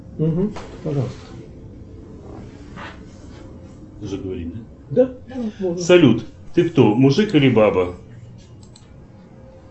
салют ты кто мужик или баба